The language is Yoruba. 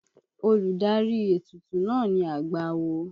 Olùdarí ètùtù náà ni àgbà awo.